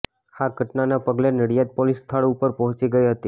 આ ઘટનાના પગલે નડિયાદ પોલીસ સ્થળ ઉપર પહોંચી ગઈ હતી